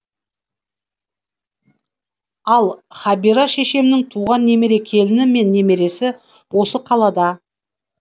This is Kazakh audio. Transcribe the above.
ал хабира шешемнің туған немере келіні мен немересі осы қалада